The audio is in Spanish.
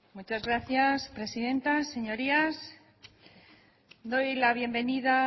muchas gracias presidenta señorías doy la bienvenida